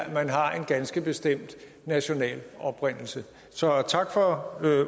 at man har en ganske bestemt national oprindelse så tak for